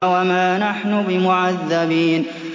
وَمَا نَحْنُ بِمُعَذَّبِينَ